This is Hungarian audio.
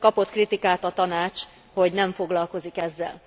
Kapott kritikát a Tanács, hogy nem foglalkozik ezzel.